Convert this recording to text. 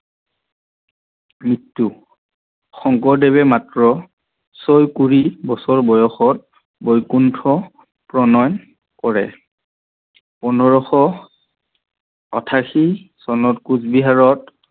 মৃত্যু শংকৰদেৱে মাত্ৰ ছয় কুৰি বছৰ বয়ষত বৈকুণ্ঠ প্ৰণয় কৰে। পোন্ধৰশ আঠাশী চনত কোচবিহাৰত